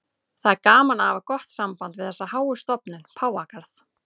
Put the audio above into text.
Það er gaman að hafa gott samband við þessa háu stofnun, Páfagarð.